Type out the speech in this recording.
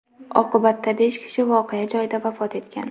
Oqibatda besh kishi voqea joyida vafot etgan.